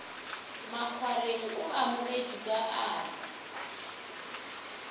makgwareng o amogetšwe ka atla